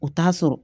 U t'a sɔrɔ